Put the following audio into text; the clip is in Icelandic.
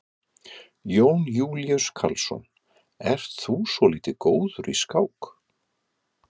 Jón Júlíus Karlsson: Ert þú svolítið góður í skák?